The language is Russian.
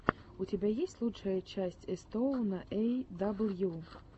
у тебя есть лучшая часть этостоуна эй дабл ю